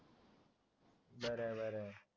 बर हाय बर हाय